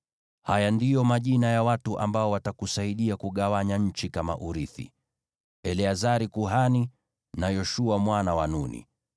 “Haya ndiyo majina ya watu ambao watakusaidia kugawanya nchi kama urithi: Eleazari kuhani na Yoshua mwana wa Nuni.